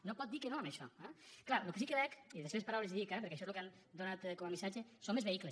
no pot dir que no a això eh clar el que sí que veig i de les seves paraules li ho dic eh perquè això és el que han donat com a missatge són més vehicles